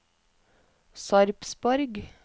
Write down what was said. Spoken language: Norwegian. Sarpsborg